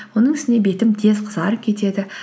оның үстіне бетім тез қызарып кетеді